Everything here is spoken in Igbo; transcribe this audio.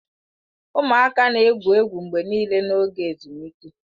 Ụmụaka na-egwu egwu mgbe niile n'oge ezumike.